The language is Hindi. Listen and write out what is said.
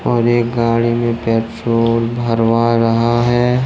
और एक गाड़ी में पेट्रोल भरवा रहा है।